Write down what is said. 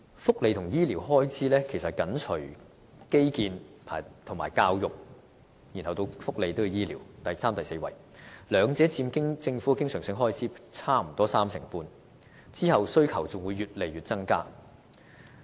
福利和醫療開支其實是緊隨基建和教育，即第三和第四位便是福利和醫療，兩者佔政府經常性開支約三成半，往後的需求只會不斷增加。